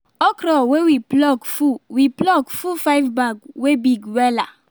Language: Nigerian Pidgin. okro wey we pluck full we pluck full five bags wey big wela